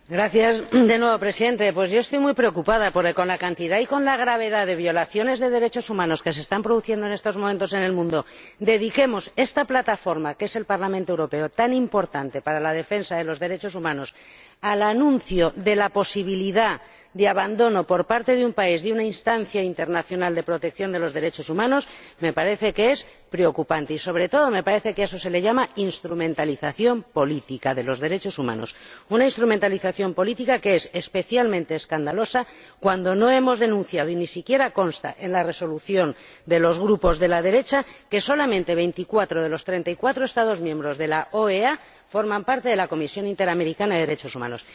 Señor Presidente, yo estoy muy preocupada porque, con la cantidad de graves violaciones de los derechos humanos que se están produciendo en estos momentos en el mundo, el que dediquemos esta plataforma que es el Parlamento Europeo, tan importante para la defensa de los derechos humanos, al anuncio de la posibilidad de abandono por parte de un país de una instancia internacional de protección de los derechos humanos me parece que es preocupante y, sobre todo, me parece que a eso se le llama instrumentalización política de los derechos humanos, una instrumentalización política que es especialmente escandalosa cuando no hemos denunciado y ni siquiera consta en la resolución de los grupos de la derecha que solamente 24 de los 34 Estados miembros de la OEA forman parte de la Comisión Interamericana de Derechos Humanos.